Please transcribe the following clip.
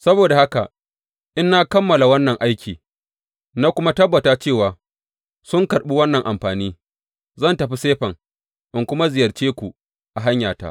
Saboda haka in na kammala wannan aiki na kuma tabbata cewa sun karɓi wannan amfani, zan tafi Sifen in kuma ziyarce ku a hanyata.